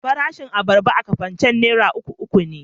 Farashin abarba a Kafancan naira uku uku ne.